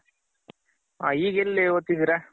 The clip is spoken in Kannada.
ಹ ಈಗೆಲ್ಲಿ ಓದ್ತಿದ್ದಿರ?